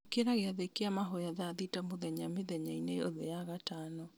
Ikĩra gĩathĩ kĩa mahoya thaa thita mũthenya mĩthenya-inĩ yothe ya gatano